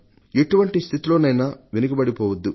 ఎటువంటి స్థితిలోనైనా వెనుకబడిపోవొద్దు